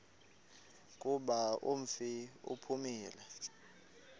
kuba umfi uphumile